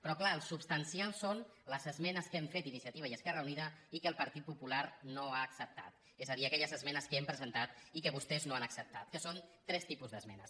però clar el substancial són les esmenes que hem fet iniciativa i esquerra unida i que el partit popular no ha acceptat és a dir aquelles esmenes que hem presentat i que vostès no han acceptat que són tres tipus d’esmenes